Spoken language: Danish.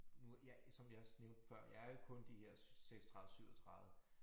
Nu jeg som jeg også nævnte før jeg er jo kun de her 36 37